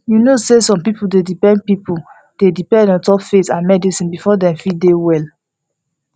you know say some people dey depend people dey depend ontop faith and medicine before dem fit dey well